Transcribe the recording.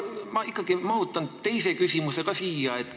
Ma ikkagi mahutan teise küsimuse ka siia.